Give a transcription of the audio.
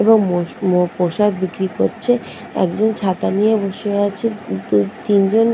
এবং মোস মো পোশাক বিক্রি করছে। একজন ছাতা নিয়ে বসে আছে। দু তিন জন--